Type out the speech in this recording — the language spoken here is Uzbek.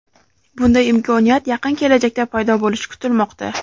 Bunday imkoniyat yaqin kelajakda paydo bo‘lishi kutilmoqda.